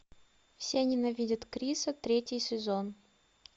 все ненавидят криса третий сезон